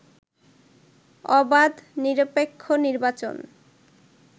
অবাধ, নিরপেক্ষ নির্বাচন